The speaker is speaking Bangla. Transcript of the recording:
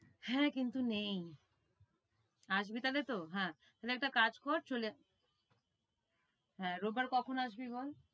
হ্যাঁ কিন্তু নেই আসবি তাহলে তো হ্যাঁ তাহলে একটা কাজ কর চলে হ্যাঁ রোব বার কখন আসবি বল?